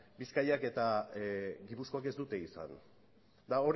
bizkaiak eta gipuzkoak ez dute izan eta